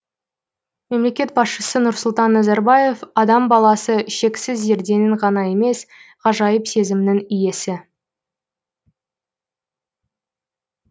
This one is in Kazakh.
мемлекет басшысы нұрсұлтан назарбаев адам баласы шексіз зерденің ғана емес ғажайып сезімнің иесі